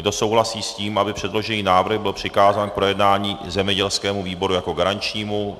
Kdo souhlasí s tím, aby předložený návrh byl přikázán k projednání zemědělskému výboru jako garančnímu?